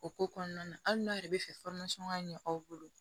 O ko kɔnɔna na hali n'a yɛrɛ bɛ fɛ ka ɲɛ aw bolo